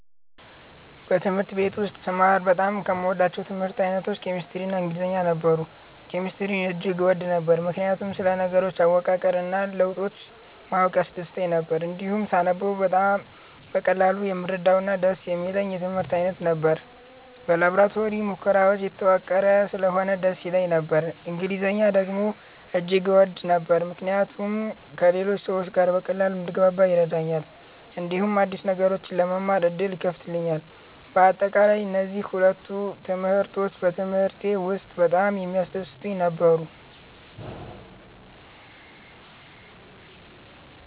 በትምህርት ቤት ውስጥ ስማር በጣም ከምወዳቸው የትምህርት አይነቶች ኬሚስትሪ እና ኢንግሊዝኛ ነበሩ። ኬሚስትሪን እጅግ እወድ ነበር፣ ምክንያቱም ስለ ነገሮች አወቃቀር እና ለውጦች ማወቅ ያስደስተኝ ነበር። እንዲሁም ሳነበው በቀላሉ የምረዳውና ደስ የሚለኝ የትምህርት አይነት ነበር። በላቦራቶሪ ሙከራዎች የተዋቀረ ስለሆነ ደስ ይለኝ ነበር። እንግሊዝኛን ደግሞ እጅግ እወድ ነበር፣ ምክንያቱም ከሌሎች ሰዎች ጋር በቀላሉ እንድግባባ ይረዳኛል፣ እንዲሁም አዲስ ነገሮችን ለመማር ዕድል ይከፍትልኛል። በአጠቃላይ፣ እነዚህ ሁለቱ ትምህርቶች በትምህርቴ ውስጥ በጣም የሚያስደስቱኝ ነበሩ።